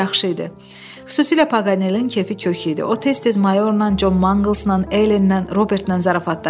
Xüsusilə Paqanelin kefi kök idi, o tez-tez mayorla, Con Manqlsla, Elenlə, Robertlə zarafatlaşırdı.